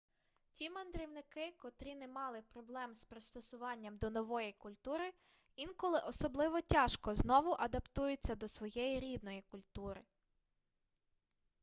ті мандрівники котрі не мали проблем з пристосуванням до нової культури інколи особливо тяжко знову адаптуються до своєї рідної культури